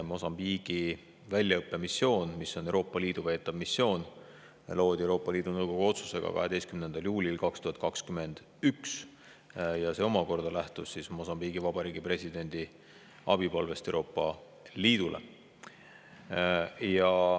Mosambiigi väljaõppemissioon, mis on Euroopa Liidu veetav missioon, algatati Euroopa Liidu Nõukogu otsusega 12. juulil 2021 ja see omakorda lähtus Mosambiigi Vabariigi presidendi abipalvest Euroopa Liidule.